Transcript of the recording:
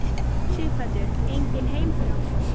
Sighvatur: Engin heimþrá?